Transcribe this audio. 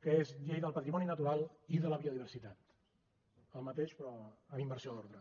que és llei del patrimoni natural i de la biodiversitat el mateix però amb inversió d’ordre